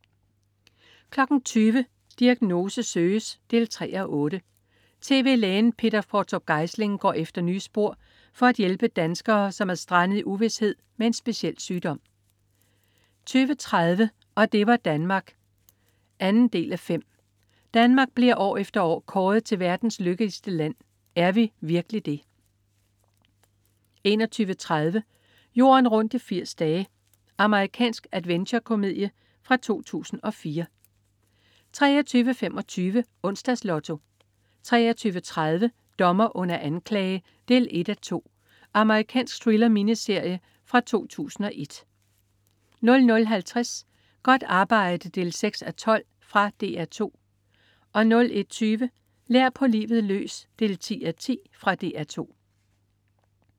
20.00 Diagnose søges 3:8. Tv-lægen Peter Qvortrup Geisling går efter nye spor for at hjælpe danskere, som er strandet i uvished med en speciel sygdom 20.30 Og det var Danmark ... 2:5. Danmark bliver år efter år kåret til verdens lykkeligste land. Er vi virkelig det? 21.30 Jorden rundt i 80 dage. Amerikansk adventure-komedie fra 2004 23.25 Onsdags Lotto 23.30 Dommer under anklage 1:2. Amerikansk thriller-miniserie fra 2001 00.50 Godt arbejde 6:12. Fra DR 2 01.20 Lær på livet løs 10:10. Fra DR 2